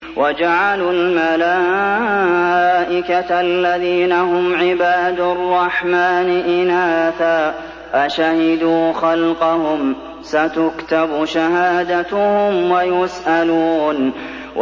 وَجَعَلُوا الْمَلَائِكَةَ الَّذِينَ هُمْ عِبَادُ الرَّحْمَٰنِ إِنَاثًا ۚ أَشَهِدُوا خَلْقَهُمْ ۚ سَتُكْتَبُ شَهَادَتُهُمْ وَيُسْأَلُونَ